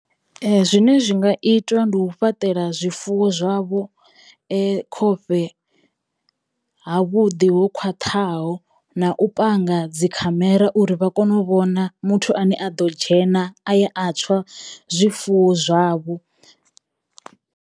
Zwine zwi nga itwa ndi u fhaṱela zwifuwo zwavho khofhe ha vhuḓi ho khwaṱhaho na u panga dzikhamera uri vha kono u vhona muthu ane a ḓo dzhena aya a tswa zwifuwo zwavho.